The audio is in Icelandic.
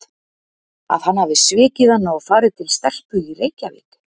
Að hann hafi svikið hana og farið til stelpu í Reykjavík?